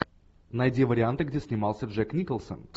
найди варианты где снимался джек николсон